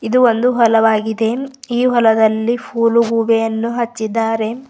ಇದು ಒಂದು ಹೊಲವಾಗಿದೆ ಈ ಹೊಲದಲ್ಲಿ ಫೂಲ್ ಗೂಬೆಯನ್ನು ಹಚ್ಚಿದ್ದಾರೆ.